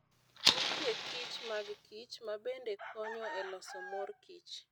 Nitie kich mag kich mabende konyo e loso mor kich.